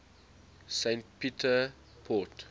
st peter port